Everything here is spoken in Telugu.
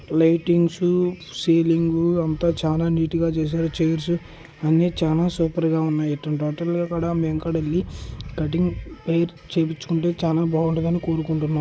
లైటింగ్సు సీలింగు అంత చాలా నీట్ గా చేసారు చైర్స్ అన్ని చానా సూపర్ గా వునాయ్ ఇట్టాంటి వాటిల్లో కూడా మేము కూడా వెల్లి కటింగ్ హెయిర్ చేపించుకుంటే చాలా బాగుంటుంది అని కోరుకుంటునం.